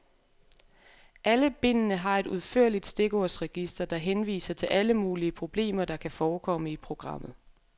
Alle bindene har et udførligt stikordsregister, der henviser til alle mulige problemer, der kan forekomme i programmet.